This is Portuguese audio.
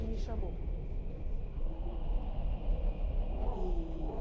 E me chamou e.